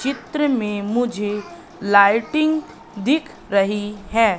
चित्र में मुझे लाइटिंग दिख रही है।